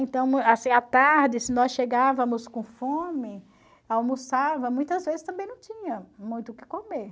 Então, assim, à tarde, se nós chegávamos com fome, almoçava, muitas vezes também não tinha muito o que comer.